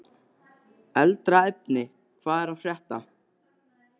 Eldra efni úr Hvað er að frétta?